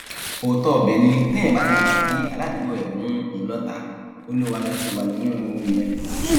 òótọ ibẹ ni téèyàn bá ti gbà kí aládùúgbò ẹ mú òun lọtàá olúwalẹ ti wà nínú ewu nìyẹn